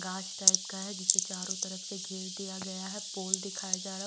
गाछ टाइप का है जिसे चारों तरफ से घेर दिया गया है पोल दिखाया जा रहा--